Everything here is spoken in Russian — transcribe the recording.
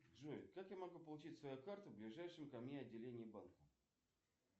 джой как я могу получить свою карту в ближайшем ко мне отделении банка